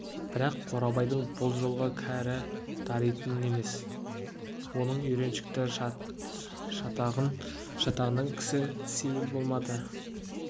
бірақ қорабайдың бұл жолғы кәрі даритын емес оның үйреншікті шатағынан кісі сейіл болмады